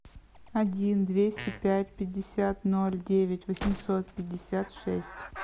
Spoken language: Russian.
один двести пять пятьдесят ноль девять восемьсот пятьдесят шесть